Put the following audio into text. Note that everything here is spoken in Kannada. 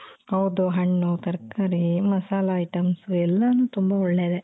ಹೌದು ಹಣ್ಣು ತರಕಾರಿ ಮಸಾಲ items ಎಲ್ಲಾನು ತುಂಬಾ ಒಳ್ಳೇದೇ .